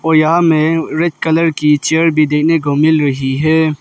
और यहां में रेड कलर की चेयर भी देखने को मिल रही है।